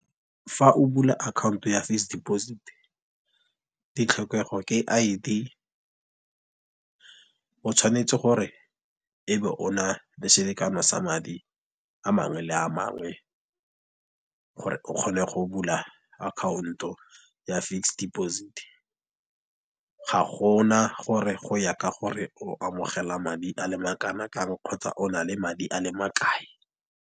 Fa o bula account ya fixed deposit, ditlhokego ke I_D, o tshwanetse gore e be o na le selekano sa madi a mangwe le a mangwe gore o kgone go bula account ya fixed deposit. Ga gona gore go ya ka gore o amogela madi a le ma kana kang kgotsa o na le madi a le ma kae.